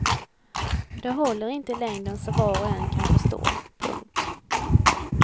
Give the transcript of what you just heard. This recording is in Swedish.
Det håller inte i längden som var och en kan förstå. punkt